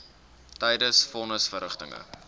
tydens von nisverrigtinge